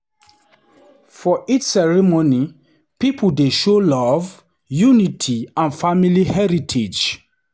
For each ceremony, pipo dey show love, unity, and family heritage.